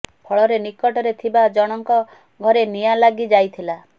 ଫଳରେ ନିକଟରେ ଥିବା ଜଣଙ୍କ ଘରେ ନିଆଁ ଲାଗି ଯାଇଥିଲା